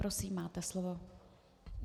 Prosím, máte slovo.